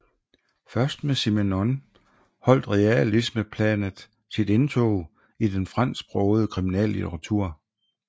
Først med Simenon holdt realismeplanet sit indtog i den fransksprogede kriminallitteratur